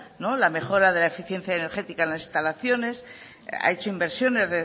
la mejora de la eficiencia energética en las instalaciones ha hecho inversiones